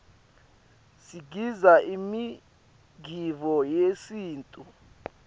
sigidza imigidvo yesintfu